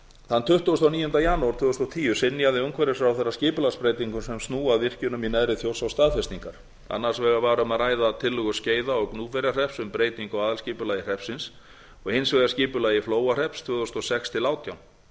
þann tuttugasta og níunda janúar tvö þúsund og tíu synjaði umhverfisráðherra skipulagsbreytingum sem snúa að virkjunum í neðri þjórsá staðfestingar annars vegar var um að ræða tillögu skeiða og gnúpverjahrepps um breytingu á aðalskipulagi hreppsins og hins vegar aðalskipulag flóahrepps tvö þúsund og sex tvö þúsund og átján